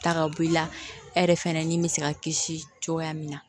Ta ka bɔ i la e yɛrɛ fɛnɛ ni bɛ se ka kisi cogoya min na